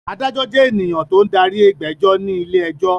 Adájọ́ jẹ́ ènìyàn tó ń darí ìgbẹ́jọ́ ní ilé-ẹjọ́.